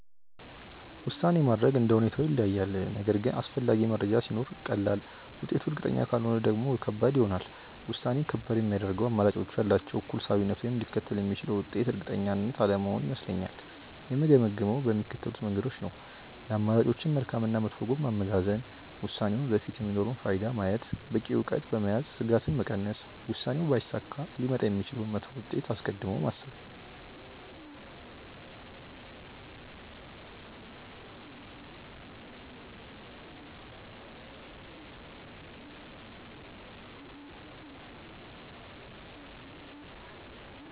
ውሳኔ ማድረግ እንደ ሁኔታው ይለያያል፤ ነገር ግን አስፈላጊ መረጃ ሲኖር ቀላል፣ ውጤቱ እርግጠኛ ካልሆነ ደግሞ ከባድ ይሆናል። ውሳኔን ከባድ የሚያደርገው አማራጮቹ ያላቸው እኩል ሳቢነት ወይም ሊከተል የሚችለው ውጤት እርግጠኛ አለመሆን ይመስለኛል። የምገመግመው በሚከተሉት መንገዶች ነው፦ የአማራጮችን መልካም እና መጥፎ ጎን ማመዛዘን፣ ውሳኔው ወደፊት የሚኖረውን ፋይዳ ማየት፣ በቂ እውቀት በመያዝ ስጋትን መቀነስ፣ ውሳኔው ባይሳካ ሊመጣ የሚችለውን መጥፎ ውጤት አስቀድሞ ማሰብ።